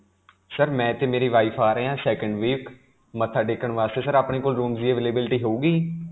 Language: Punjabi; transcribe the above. sir, ਮੈਂ 'ਤੇ ਮੇਰੀ wife ਆ ਰਹੇ ਹਾਂ second week. ਮੱਥਾ ਟੇਕਣ ਵਾਸਤੇ. sir, ਆਪਣੇ ਕੋਲ rooms ਦੀ availability ਹੋਵੇਗੀ?